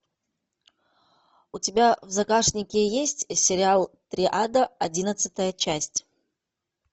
у тебя в загашнике есть сериал триада одиннадцатая часть